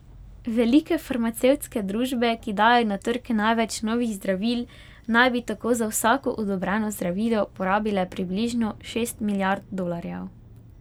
Velike farmacevtske družbe, ki dajo na trg največ novih zdravil, naj bi tako za vsako odobreno zdravilo porabile približno šest milijard dolarjev.